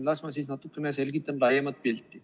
Las ma siis natukene selgitan laiemat pilti.